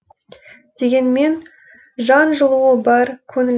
дегенмен жан жылуы бар көңіл